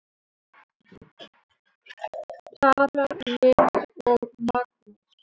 Tara Lynd og Magnús.